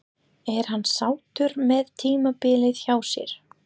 Er hann sáttur með tímabilið hjá sér?